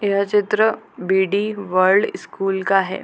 यह चित्र B D. World school का है।